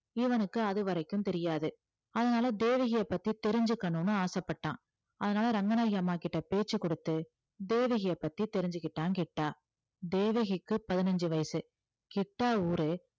இவனுக்கு அதுவரைக்கும் தெரியாது அதனால தேவகியை பத்தி தெரிஞ்சுக்கணும்னு ஆசைப்பட்டான் அதனால ரங்கநாயகி அம்மா கிட்ட பேச்ச கொடுத்து தேவகியை பத்தி தெரிஞ்சுக்கிட்டான் கிட்டா தேவகிக்கு பதினஞ்சு வயசு கிட்டா ஊரு